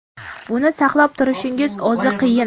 Buni saqlab turishning o‘zi qiyin.